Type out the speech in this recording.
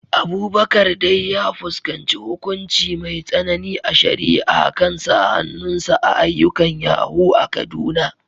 Abubakar dai ya fuskanci hukunci mai tsanani a shari’a kan sa hannun sa a ayyukan yahoo a Kaduna.